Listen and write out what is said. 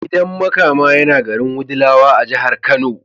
Gidan Makama yana garin Wudilawa a jihar Kano.